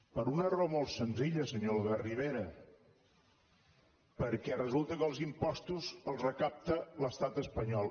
per una raó molt senzilla senyor albert rivera perquè resulta que els impostos els recapta l’estat espanyol